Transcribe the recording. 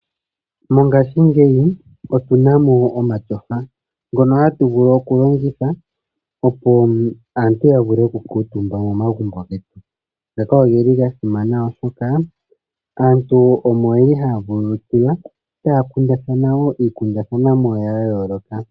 Mongashi ngeyi otunamo omatyofa, ngono hatuvulu okulongitha opo aantu yavule oku kutumba momagumbo getu ngaka ogeli gasimana oshoka aantu omo yeli ha vululukilwa takundathana wo ikundathanwamo yayoloka.